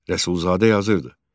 Rəsulzadə yazırdı: